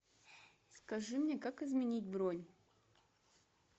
скажи мне как изменить бронь